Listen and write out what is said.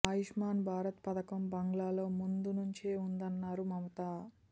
ఆయుష్మాన్ భారత్ పథకం బంగాల్లో ముందు నుంచే ఉందన్నారు మమత